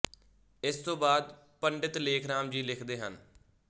ਇਸ ਤੋਂ ਬਾਅਦ ਪੰ ਲੇਖਰਾਮ ਜੀ ਲਿਖਦੇ ਹਨ